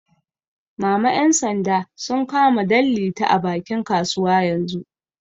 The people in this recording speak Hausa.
Mama ƴan sanda sun kama Danliti a bakin kasuwa yanzu